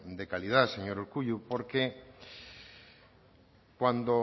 de calidad señor urkullu porque cuando